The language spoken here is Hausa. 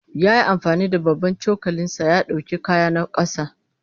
Ya yi amfani da babban cokalinsa ya ɗauki kayana ƙasa.